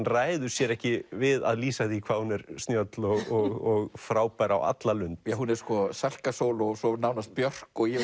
ræður sér ekki við að lýsa því hvað hún er snjöll og frábær á alla lund hún er Salka Sól og svo nánast Björk og ég